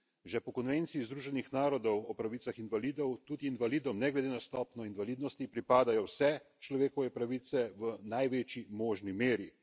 Že po konvenciji Združenih narodov o pravicah invalidov tudi invalidom ne glede na stopnjo invalidnosti pripadajo vse človekove pravice v največji možni meri.